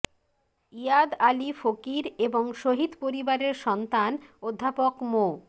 ইয়াদ আলী ফকির এবং শহীদ পরিবারের সন্তান অধ্যাপক মো